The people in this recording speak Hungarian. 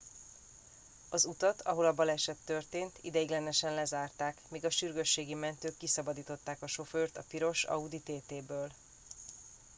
az utat ahol a baleset történt ideiglenesen lezárták míg a sürgősségi mentők kiszabadították a sofőrt a piros audi tt ből